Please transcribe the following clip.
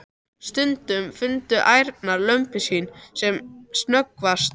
Stundum fundu ærnar lömbin sín sem snöggvast.